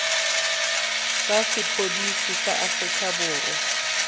tsa sepodisi sa aforika borwa